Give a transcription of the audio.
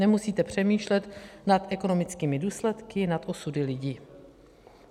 Nemusíte přemýšlet nad ekonomickými důsledky, nad osudy lidí.